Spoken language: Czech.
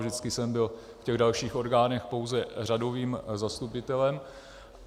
Vždycky jsem byl v těch dalších orgánech pouze řadovým zastupitelem.